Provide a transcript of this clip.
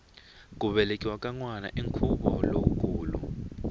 ku velekiwa ka nwana i nkhuvo lowukulu